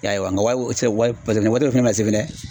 I y'a ye wa nga wa paseke nin waati dɔ fɛnɛ bɛna se fɛnɛ.